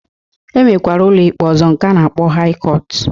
E nwekara ụlọikpe ọzọ nke a na-akpọ haị kọtụ